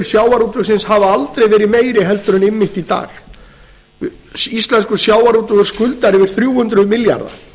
sjávarútvegsins hafa aldrei verið meiri en einmitt í dag íslenskur sjávarútvegur skuldar yfir þrjú hundruð milljarða